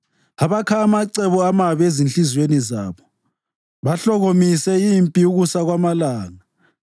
abakha amacebo amabi ezinhliziyweni zabo bahlokomise impi ukusa kwamalanga.